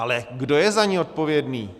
Ale kdo je za ni odpovědný?